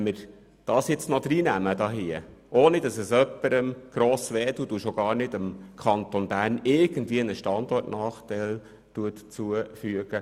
Wenn wir das annehmen, dann können wir im EP sogar noch etwas Wunschprogramm machen, ohne dass es jemandem gross schmerzt und dem Kanton Bern einen Standortnachteil zufügt.